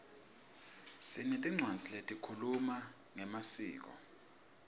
sinetincwadzi lehkhuluma ngemaskco